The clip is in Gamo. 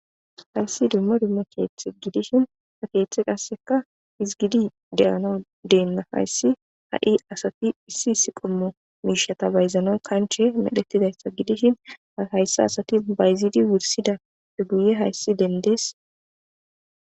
Hayssi dumma dumma keeththati dishin ha keethey qassseka hizgidi de7anaw deenna hayssi asati issi issi miishsha bayzanas kanche medhettizaysa gidishin bayzidi wurssidappe guyen dendida.